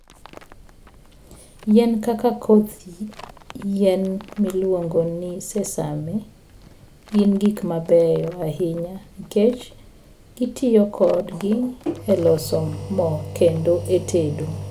Yien kaka koth yien miluongo ni sesame gin gik mabeyo ahinya nikech gitiyo kodgi e loso mo kendo e tedo.